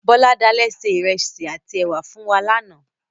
Bọ́ládé se ìrẹsì àtí èwà fún wa lánáà